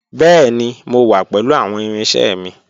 Bẹẹni, Mo wa pẹlu awọn irinṣẹ mi.